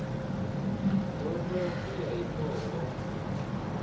dyondzo ku ya hi mongo